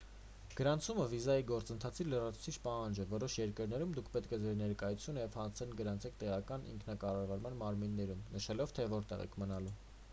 գրանցումը վիզայի գործընթացի լրացուցիչ պահանջ է որոշ երկրներում դուք պետք է ձեր ներկայությունը և հասցեն գրանցեք տեղական ինքնակառավարման մարմիններում նշելով թե որտեղ եք մնալու